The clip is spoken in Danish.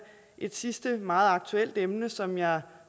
et sidste meget aktuelt emne som jeg